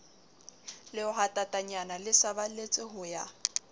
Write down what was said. lehwatatanyana le saballetse ho ya